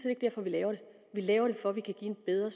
ikke derfor vi laver det vi laver det for at vi kan give en bedre